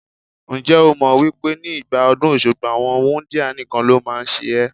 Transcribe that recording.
Ǹjẹ́ o mọ̀ wípé ní ìgbà ọdún Òṣogbo, àwọn wúńdíá nìkan ló máa ń ṣe ẹ́?